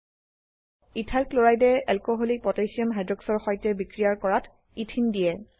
ethyl ক্লোৰাইডে alcoholic potassium হাইক্সাইডৰ সৈতে বিক্ৰিয়ায কৰাত ইথিন দিয়ে